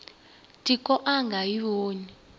tiko a nga yi voni